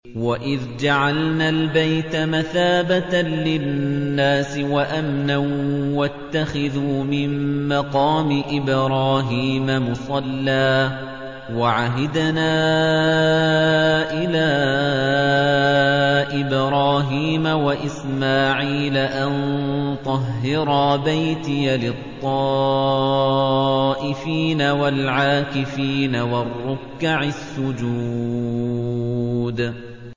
وَإِذْ جَعَلْنَا الْبَيْتَ مَثَابَةً لِّلنَّاسِ وَأَمْنًا وَاتَّخِذُوا مِن مَّقَامِ إِبْرَاهِيمَ مُصَلًّى ۖ وَعَهِدْنَا إِلَىٰ إِبْرَاهِيمَ وَإِسْمَاعِيلَ أَن طَهِّرَا بَيْتِيَ لِلطَّائِفِينَ وَالْعَاكِفِينَ وَالرُّكَّعِ السُّجُودِ